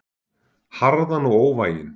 Harðan og óvæginn.